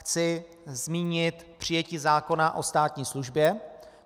Chci zmínit přijetí zákona o státní službě.